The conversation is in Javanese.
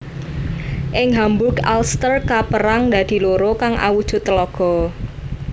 Ing Hamburg Alster kapérang dadi loro kang awujud tlaga